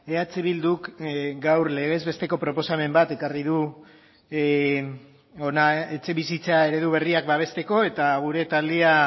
eh bilduk gaur legez besteko proposamen bat ekarri du hona etxebizitza eredu berriak babesteko eta gure taldea